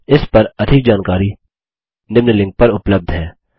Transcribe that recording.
इस पर अधिक जानकारी निम्न लिंक पर उपलब्ध है